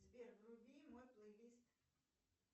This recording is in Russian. сбер вруби мой плейлист